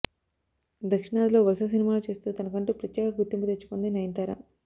దక్షిణాదిలో వరుస సినిమాలు చేస్తూ తనకంటూ ప్రత్యేక గుర్తింపు తెచ్చుకుంది నయనతార